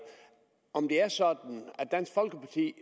om det er sådan at dansk folkeparti